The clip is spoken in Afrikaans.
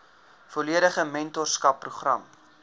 volledige mentorskap program